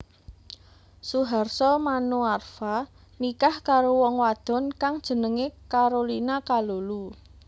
Suharso Manoarfa nikah karo wong wadon kang jenengé Carolina Kalulu